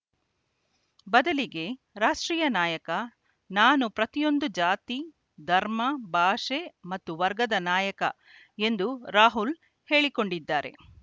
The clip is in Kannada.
ಬದಲಿಗೆ ರಾಷ್ಟ್ರೀಯ ನಾಯಕ ನಾನು ಪ್ರತಿಯೊಂದು ಜಾತಿ ಧರ್ಮ ಭಾಷೆ ಮತ್ತು ವರ್ಗದ ನಾಯಕ ಎಂದು ರಾಹುಲ್‌ ಹೇಳಿಕೊಂಡಿದ್ದಾರೆ